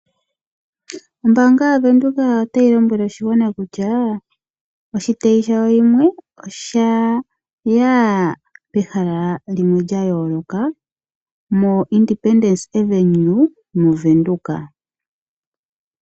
Ombaanga yaWindhoek otayi lombwele oshigwana kutya oshitayi shayo shimwe oshaya pehala limwe lyayooloka moIndependence Avenue moWindhoek.